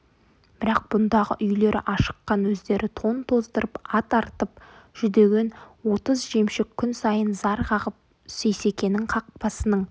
бірақ бұндағы үйлері ашыққан өздері тон тоздырып ат арытып жүдеген отыз жемшік күн сайын зар қағып сейсекенің қақпасының